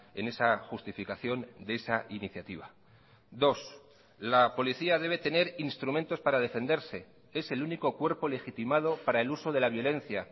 en esa justificación de esa iniciativa dos la policía debe tener instrumentos para defenderse es el único cuerpo legitimado para el uso de la violencia